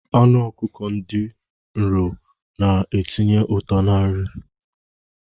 Anụ ọkụkọ ndị nro na-etinye ụtọ na-nri.